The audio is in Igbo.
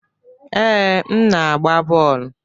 Ee, m na-agba bọọlụ.